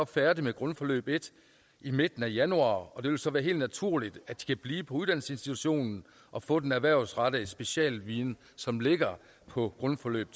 færdige med grundforløb en i midten af januar og det vil så være helt naturligt at de kan blive på uddannelsesinstitutionen og få den erhvervsrettede specialviden som ligger på grundforløb